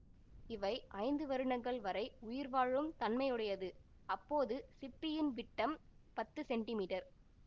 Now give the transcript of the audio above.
இவை ஐந்து வருடங்கள் வரை உயிர் வாழும் தன்மையுடையதுஅப்போது சிப்பியின் விட்டம் பத்து சென்டிமீட்டர்